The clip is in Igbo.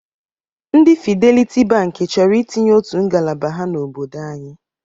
Ndị Fideliti Bankị chọrọ itinye otu ngalaba ha n'obodo anyị.